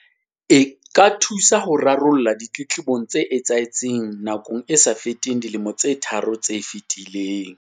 E ka thusa ho rarolla ditletlebong tse etsahetseng nakong e sa feteng dilemo tse tharo tse fetileng.